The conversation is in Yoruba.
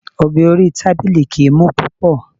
Ọ̀bẹ orí tábìlì kìí mú púpọ̀.